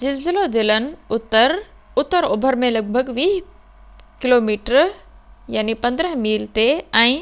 زلزلو دلن اتر-اتر اوڀر ۾ لڳ ڀڳ 20 ڪوميٽر 15 ميل تي، ۽